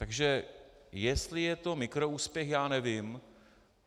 Takže jestli je to mikroúspěch, já nevím.